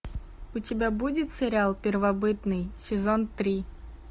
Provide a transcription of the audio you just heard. у тебя будет сериал первобытный сезон три